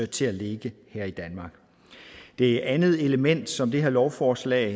til at ligge her i danmark det andet element som det her lovforslag